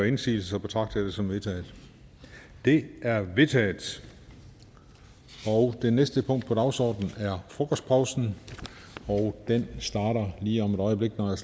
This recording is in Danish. indsigelse betragter jeg det som vedtaget det er vedtaget det næste punkt på dagsordenen er frokostpausen og den starter lige om et øjeblik når jeg